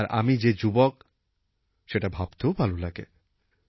আর আমি যে যুবক সেটা ভাবতেও ভাল লাগে